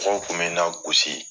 Mɔgɔ mun tun bɛ na gosi